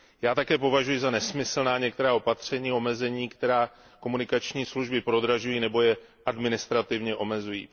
Já také považuji za nesmyslná některá opatření, omezení, která komunikační služby prodražují nebo je administrativně omezují.